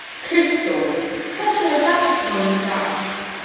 Kristdór, hvernig er dagskráin í dag?